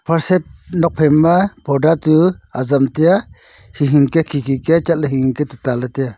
sofa set nuak phai ma parda tsu azam tai a hing hing ke khi khi ke chat ley hing hing ke tuta ley tai a.